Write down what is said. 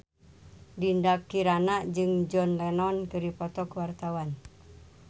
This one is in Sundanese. Dinda Kirana jeung John Lennon keur dipoto ku wartawan